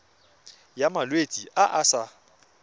ya malwetse a a sa